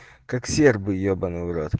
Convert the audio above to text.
как сербы ебанный в рот